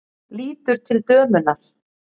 Lítur til dömunnar.